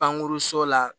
Pankuruso la